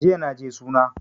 Jiya naje suna